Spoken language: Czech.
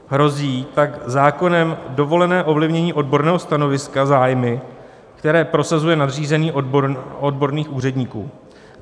Hrozí tak zákonem dovolené ovlivnění odborného stanoviska zájmy, které prosazuje nadřízený odborných úředníků.